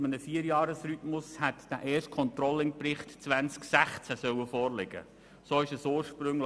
Bei einem Vierjahresrhythmus hätte der erste Controlling-Bericht 2016 vorliegen sollen.